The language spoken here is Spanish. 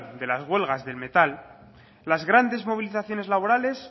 de las huelgas del metal las grandes movilizaciones laborales